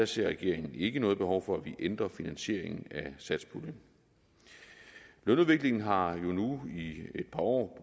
ser regeringen ikke noget behov for at vi ændrer finansieringen af satspuljen lønudviklingen har jo nu i et par år